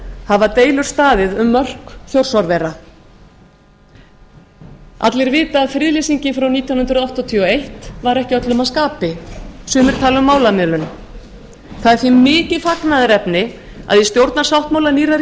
hafa deilur staðið um mörk þjórsárvera allir vita að friðlýsingin frá nítján hundruð áttatíu og eitt var ekki öllum að skapi sumir tala um málamiðlun það er því mikið fagnaðarefni að í stjórnarsáttmála nýrrar